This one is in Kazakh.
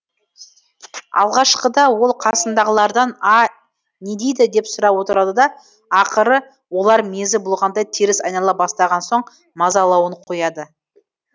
алғашқыда ол қасындағылардан а не дейді деп сұрап отырды да ақыры олар мезі болғандай теріс айнала бастаған соң мазалауын қояды